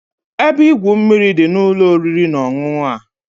Ebe igwu mmiri dị n'ụlọ oriri na ọṅụṅụ a.